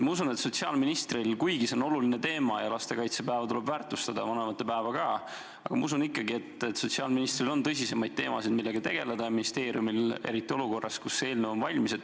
Kuigi see on oluline teema ja lastekaitsepäeva tuleb väärtustada, vanavanemate päeva ka, usun ma, et sotsiaalministril on tõsisemaid teemasid, millega tegeleda, ja neid on ka ministeeriumil, eriti olukorras, kus see eelnõu on valmis.